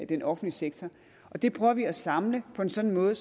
den offentlige sektor det prøver vi at samle på en sådan måde